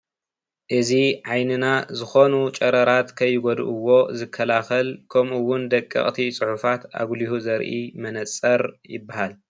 እዚ ዓይንና ዝኮኑ ጨረራት ከይጎድእዎ ዝከላከል ከምኡ እዉን ደቀቅቲ ፅሑፋት ኣጉሊሁ ዘርኢ መነፀር ይበሃል ።